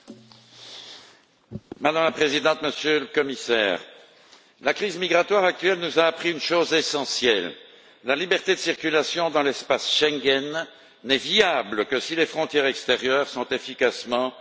Madame la Présidente, Monsieur le Commissaire, la crise migratoire actuelle nous a appris une chose essentielle la liberté de circulation dans l'espace Schengen n'est viable que si les frontières extérieures sont efficacement contrôlées et protégées.